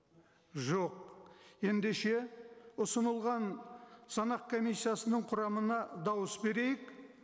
жоқ ендеше ұсынылған санақ комиссиясының құрамына дауыс берейік